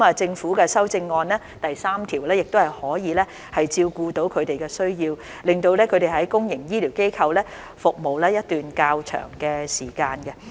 政府的修正案第3條亦可以照顧他們的需要，令他們在公營醫療機構服務一段較長的時間。